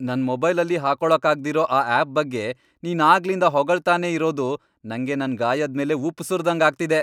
ನನ್ ಮೊಬೈಲಲ್ಲಿ ಹಾಕೊಳಕ್ಕಾಗ್ದಿರೋ ಆ ಆಪ್ ಬಗ್ಗೆ ನೀನ್ ಆಗ್ಲಿಂದ ಹೊಗಳ್ತಾನೇ ಇರೋದು ನಂಗೆ ನನ್ ಗಾಯದ್ ಮೇಲ್ ಉಪ್ಪ್ ಸುರ್ದಂಗ್ ಆಗ್ತಿದೆ.